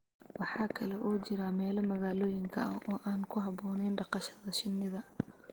Waxa kale oo jira meelo magaalooyinka ah oo aan ku habboonayn dhaqashada shinnida.